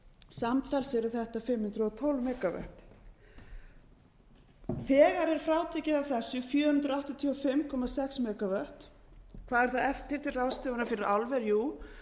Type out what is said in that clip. samtals eru þetta hundrað og tólf megavatt þegar er frátekið af þessu fjögur hundruð áttatíu og fimm komma sex megavatt hvað eru eftir til ráðstöfunar fyrir álver jú